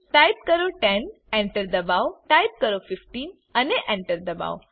type કરો 10 Enter દબાઓ type કરો 15 અને Enter દબાઓ